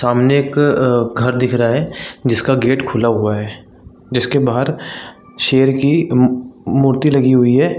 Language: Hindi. सामने एक अअ घर दिख रहा है जिसका गेट खुला हुआ है जिसके बाहर शेर की मुउ मूर्ति लगी हुई है।